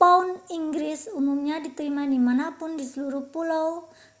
pound inggris umumnya diterima di mana pun di seluruh pulau